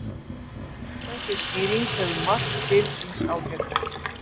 Þessi skýring hefur margt til síns ágætis.